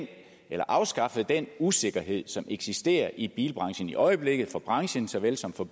afskaffet den usikkerhed som eksisterer i bilbranchen i øjeblikket for branchen såvel som for